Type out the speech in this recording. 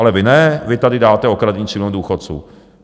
Ale vy ne, vy tady dáte okradení 3 milionů důchodců.